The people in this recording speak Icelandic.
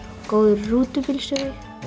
góður rútubílstjóri